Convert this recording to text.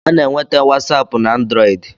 A na-enwete wasapu na anduroidi